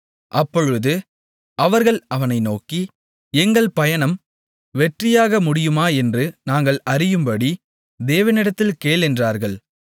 அப்பொழுது அவர்கள் அவனை நோக்கி எங்கள் பயணம் வெற்றியாக முடியுமா என்று நாங்கள் அறியும்படி தேவனிடத்தில் கேள் என்றார்கள்